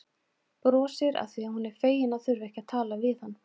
Brosir afþvíað hún er fegin að þurfa ekki að tala við hann.